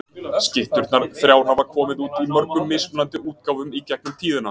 Skytturnar þrjár hafa komið út í mörgum mismunandi útgáfum í gegnum tíðina.